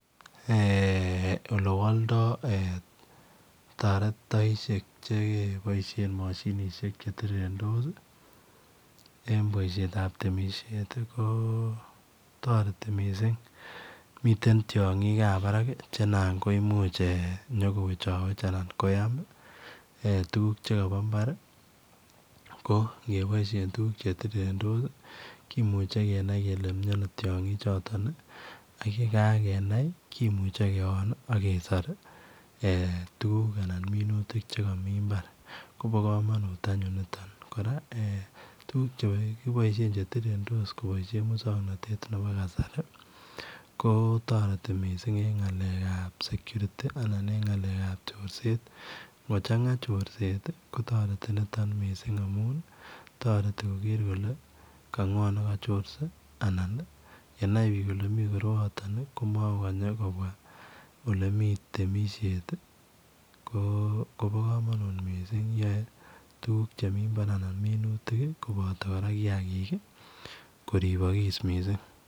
Eeh ole waldai taretaisheek che ke boisiet mashinisheek che tirirendos ii eng bosiet ab temisiet ii ko taretii missing mitten tiangiik ab Barak che imuch kowechaweech anan koyam eeh tuguuk chekabo mbaar ko ngebaisheen tuguuk che tirirendos ii kimuchei kenai kele miano tiangiik chotoon ii ak ye kagenai kimuchei keon ako kesor anan minutik che kamii mbaar koba kamanut anyuun nitoon kora tuguk chekiboishen che tirirendos ko boisien musanganatet nebo kasari ko taretii missing en ngaleek ab [security] anan en ngalek ab corset ingo changaa missing amuun taretii Kroger kole ma ngo nekachorse anan yenai biik kole mii koroaataan ii ko makokanyei kobwaa ole miten temisiet ko bo kamanut eng tuguuk che mii mbar anan minutik kobata kiagik koribakis missing.